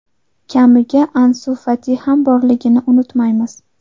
Kamiga Ansu Fati ham borligini unutmaymiz.